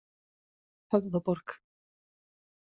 Höfðaborg